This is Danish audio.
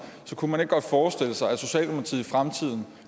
så kunne man ikke godt forestille sig at socialdemokratiet i fremtiden